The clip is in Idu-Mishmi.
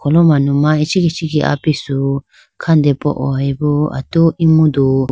o manuma ichikhi ichikhi apisu khandepoye bo atu emudu .